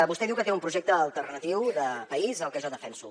vostè diu que té un projecte alternatiu de país al que jo defenso